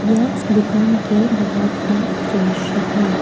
यह दुकान के बाहर का दृश्य है।